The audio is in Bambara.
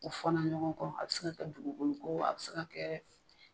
U fɔnna ɲɔgɔn kɔ a bi se ka kɛ dugukolo ko a bi se ka kɛ.